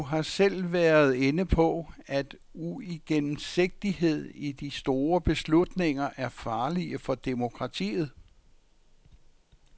Du har selv været inde på, at uigennemsigtighed i de store beslutninger er farlige for demokratiet.